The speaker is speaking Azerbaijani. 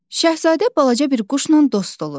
Şahzadə balaca bir quşla dost olur.